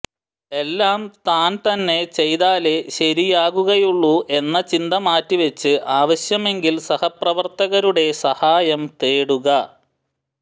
എല്ലാം താൻ തന്നെ ചെയ്താലേ ശരിയായകുകയുള്ളൂ എന്ന ചിന്ത മാറ്റി വച്ച് ആവശ്യമെങ്കിൽ സഹപ്രവർത്തകരുടെ സഹായം തേടുക